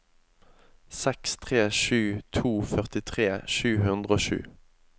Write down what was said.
seks tre sju to førtitre sju hundre og sju